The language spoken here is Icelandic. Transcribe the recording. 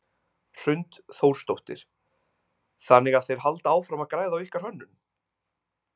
Hrund Þórsdóttir: Þannig að þeir halda áfram að græða á ykkar hönnun?